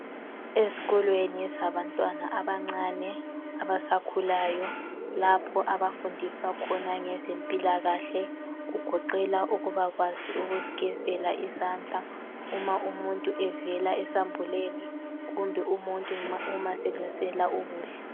Ezikolweni ezabantwana abancane abasakhulayo lapho abafundiswa khona ngezempilakahle kugoqela ukuba kwazi ukuzigezela izandla uma umuntu evela esambuleni kumbe umuntu uma selungiselela ukudla .